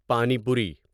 پانی پوری